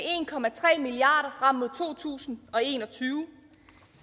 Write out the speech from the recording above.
en milliard kroner frem mod to tusind og en og tyve